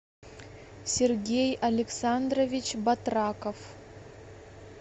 сергей александрович батраков